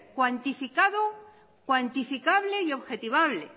cuantificado cuantificable y objetivable